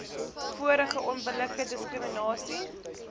vorige onbillike diskriminasie